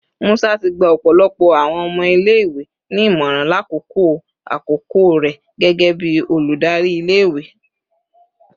Musa ti gba ọpọlọpọ awọn ọmọ ile-iwe ni imọran lakoko akoko rẹ gẹgẹbi oludari ile-iwe